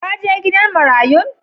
Ka je gidan marayun?